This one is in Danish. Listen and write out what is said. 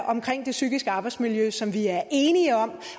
omkring det psykiske arbejdsmiljø som vi er enige om